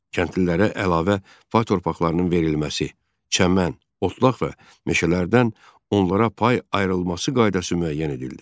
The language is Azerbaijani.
Kəndlilərə əlavə pay torpaqlarının verilməsi, çəmən, otlaq və meşələrdən onlara pay ayrılması qaydası müəyyən edildi.